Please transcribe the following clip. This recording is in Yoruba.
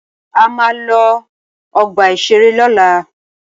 A máa lọ ọgbà-ìṣeré lọ́la.